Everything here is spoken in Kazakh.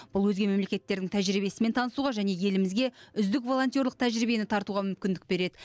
бұл өзге мемлекеттердің тәжірибесімен танысуға және елімізге үздік волонтерлық тәжірибені тартуға мүмкіндік береді